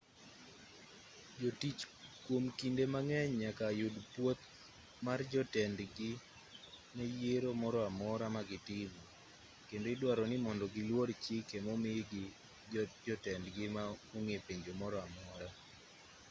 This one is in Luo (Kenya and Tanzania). jotich kwom kinde mang'eny nyaka yud pwoth mar jotendgi ne yiero moro amora ma gitimo kendo idwaro ni mondo giluor chike momigi gi jotendgi ma onge penjo moro amora